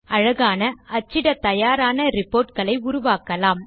அழகான அச்சிட தயாரான ரிப்போர்ட் களை உருவாக்கலாம்